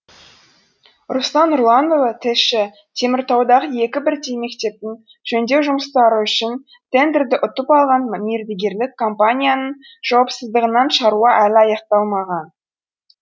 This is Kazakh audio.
руслан нұрланұлы тілші теміртаудағы екі бірдей мектептің жөндеу жұмыстары үшін тендерді ұтып алған мердігерлік компанияның жауапсыздығынан шаруа әлі аяқталмаған